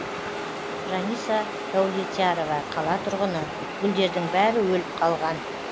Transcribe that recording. жаниса даулетярова қала тұрғыны гүлдердің бәрі өліп қалған